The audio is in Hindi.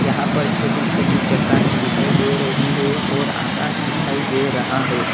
यहां पर छोटी छोटी चट्टानें दिखाई दे रही है और आकाश दिखाई दे रहा है।